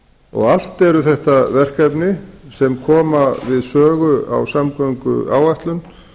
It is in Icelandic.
og allt eru þetta verkefni sem koma við sögu á samgönguáætlun